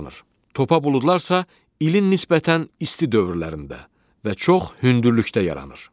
Topa buludlar isə ilin nisbətən isti dövrlərində və çox hündürlükdə yaranır.